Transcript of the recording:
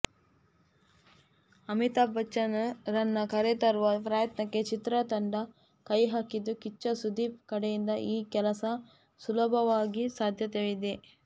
ಅಮಿತಾಬ್ ಬಚ್ಚನ್ ರನ್ನ ಕರೆತರುವ ಪ್ರಯತ್ನಕ್ಕೆ ಚಿತ್ರತಂಡ ಕೈಹಾಕಿದ್ದು ಕಿಚ್ಚ ಸುದೀಪ್ ಕಡೆಯಿಂದ ಈ ಕೆಲಸ ಸುಲಭವಾಗೋ ಸಾಧ್ಯತೆಗಳಿದೆ